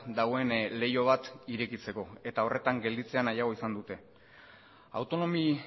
dagoen leiho bat irekitzeko eta horretan gelditzea nahiago izan dute autonomi